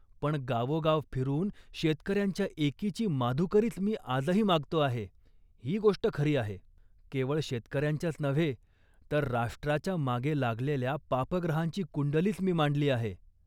पण गावोगाव फिरून शेतकऱ्यांच्या एकीची माधुकरीच मी आजही मागतो आहे, ही गोष्ट खरी आहे. केवळ शेतकऱ्यांच्याच नव्हे, तर राष्ट्राच्या मागे लागलेल्या पापग्रहांची कुंडलीच मी मांडली आहे